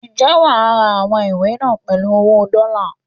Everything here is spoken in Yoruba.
Ǹjẹ́ wà á ra àwọn ìwé náà pèlú owó dọ́lá?